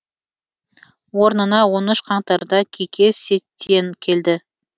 орнына он үш қаңтарда кике сетьен келді